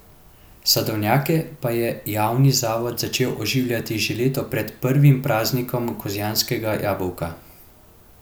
Sadovnjake pa je javni zavod začel oživljati že leto pred prvim praznikom kozjanskega jabolka.